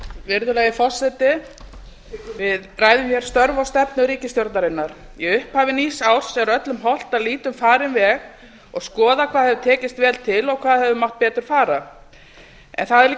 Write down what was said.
virðulegi forseti við ræðum hér störf og stefnu ríkisstjórnarinnar í upphafi nýs árs er öllum hollt að líta um farinn veg og skoða hvað hefur tekist vel til og hvað hefur mátt betur fara það er líka